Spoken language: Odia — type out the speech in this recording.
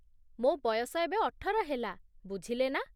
ମୋ ବୟସ ଏବେ ଅଠର ହେଲା, ବୁଝିଲେନା?